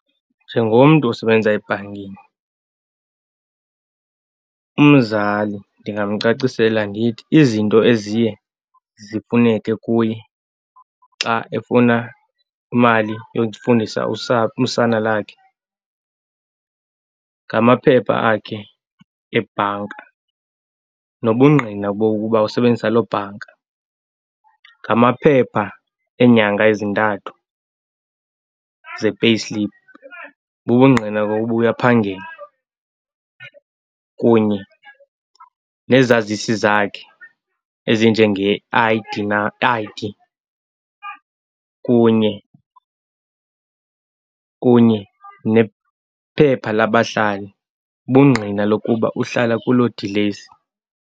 Njengomntu osebenza ebhankini umzali ndingamcacisela ndithi izinto eziye zifuneke kuye xa efuna imali yokufundisa usana lakhe ngamaphepha akhe ebhanka nobungqina bokuba usebenzisa loo bhanka. Ngamaphepha eenyanga ezintathu ze-payslip, bubungqina bokuba uyaphangela kunye nezazisi zakhe ezinjenge-I_D na I_D kunye, kunye nephepha labahlali bungqina lokuba uhlala kuloo dilesi.